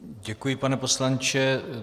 Děkuji, pane poslanče.